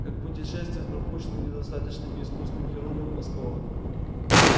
как путешествует пропущенный недостаточно искусным хирургом осколок